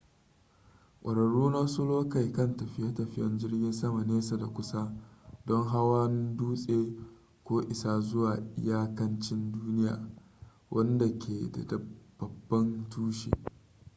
kwararru na wasu lokai kan tafiye-tafiyen jirgin sama nesa da teku don hawan dutse ko isa zuwa iyakanci duniya wanda ke da babban tushe